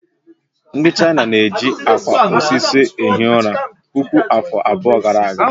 Ndị China na-eji akwa osisi ehi ụra puku afọ abụọ gara aga